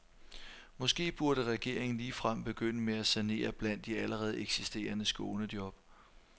Måske burde regeringen ligefrem begynde med at sanere blandt de allerede eksisterende skånejob.